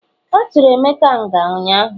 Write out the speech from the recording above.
aturu emeka nga unyanya?